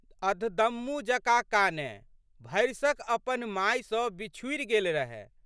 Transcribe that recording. अधदम्मू जकाँ कानए। भरिसक अपन माय सँ बिछुड़ि गेल रहए।